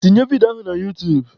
Tinye vidio ahụ na utuub!